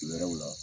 Wɛrɛw la